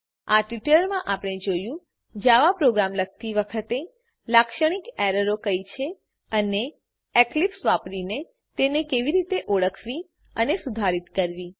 આ ટ્યુટોરીયલમાં આપણે જોયું જાવા પ્રોગ્રામ લખતી વખતે લાક્ષણિક એરરો કઈ છે અને એક્લીપ્સ વાપરીને તેને કેવી રીતે ઓળખવી અને સુધારીત કરવી